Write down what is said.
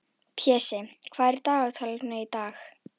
Pési, hvað er á dagatalinu í dag?